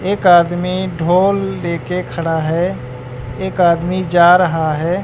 एक आदमी ढोल लेके खड़ा है एक आदमी जा रहा है।